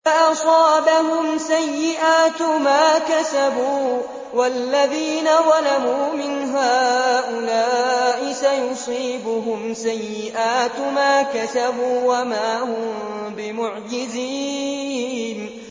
فَأَصَابَهُمْ سَيِّئَاتُ مَا كَسَبُوا ۚ وَالَّذِينَ ظَلَمُوا مِنْ هَٰؤُلَاءِ سَيُصِيبُهُمْ سَيِّئَاتُ مَا كَسَبُوا وَمَا هُم بِمُعْجِزِينَ